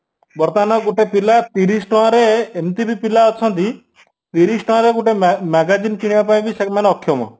ବର୍ତମାନ ଗୋଟେ ପିଲା ତିରିଶି ଟଙ୍କାରେ ଏମିତିବି ପିଲା ଅଛନ୍ତି ତିରିଶି ଟଙ୍କାରେ ଗୋଟେ magazine କିଣିବା ପାଇଁବି ସେମାନେ ଅକ୍ଷମ